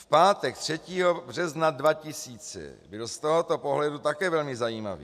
V pátek 3. března 2000 byl z tohoto pohledu také velmi zajímavý.